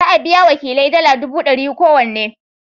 Za a biya wa wakilai dala dubu dari kowanne.